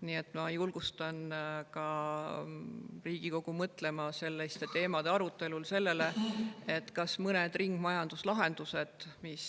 Nii et ma julgustan ka Riigikogu mõtlema selliste teemade arutelul sellele, kas ei peaks edendama mõnda ringmajanduslahendust, mis